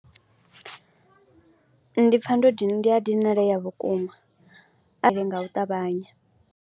Ndi pfha ndo dina, ndi a dinalea vhukuma ende nga u ṱavhanya.